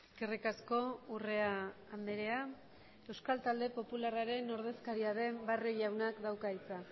eskerrik asko urrea andrea euskal talde popularraren ordezkaria den barrio jaunak dauka hitza